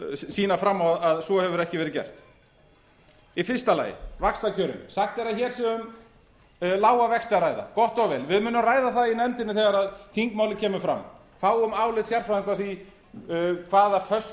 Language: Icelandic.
sýna fram á að svo hefur ekki verið gert í fyrsta lagi vaxtakjörin sagt er að hér sé um lága vexti að ræða gott og vel við munum ræða það í nefndinni þegar þingmálið kemur fram fáum álit sérfræðinga á því hafa föstu